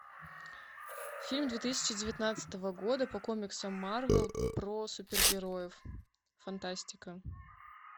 фильм две тысячи девятнадцатого года по комиксам марвел про супергероев фантастика